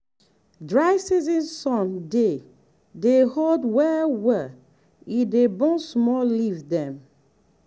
dry season sun dey dey hot well well e dey burn small leaf dem.